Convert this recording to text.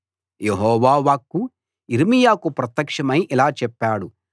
యెహోవా వాక్కు యిర్మీయాకు ప్రత్యక్షమై ఇలా చెప్పాడు